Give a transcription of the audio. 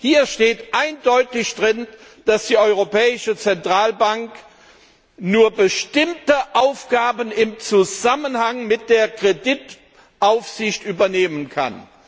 Darin steht eindeutig, dass die Europäische Zentralbank nur bestimmte Aufgaben im Zusammenhang mit der Kreditaufsicht übernehmen kann.